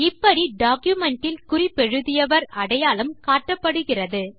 இப்படி டாக்குமென்ட் இல் குறிப்பெழுதியவர் அடையாளம் காட்டப்படுகிறார்